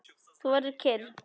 Þú verður kyrr.